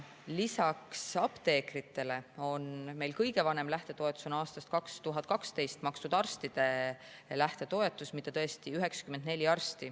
Lisaks apteekrite on meil aastast 2012 olnud arstide lähtetoetus, see on kõige vanem lähtetoetus, mida on saanud 94 arsti.